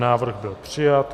Návrh byl přijat.